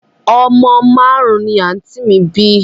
Omo marun-un ni anti mi bi